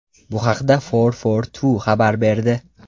Bu haqda FourFourTwo xabar berdi .